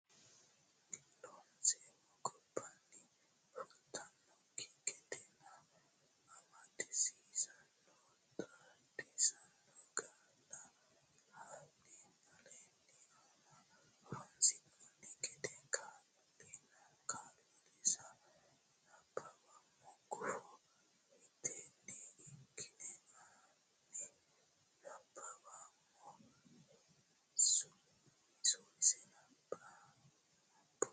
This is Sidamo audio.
Loonseemmo gobbaanni fultannokki gedenna amadisiisaano xaadisaano qaalla hanni aleenni ani horonsidhanno gede kaa linsa nabbawummo gufo mitteenni ikkine ani nabbawummo suwinse nabbambo.